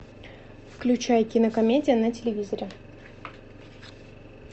включай кинокомедия на телевизоре